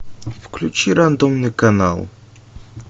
включи рандомный канал